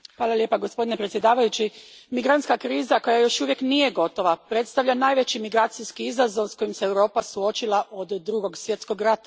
Gospodine predsjedniče, migrantska kriza, koja još uvijek nije gotova, predstavlja najveći migracijski izazov s kojim se Europa suočila od Drugog svjetskog rata.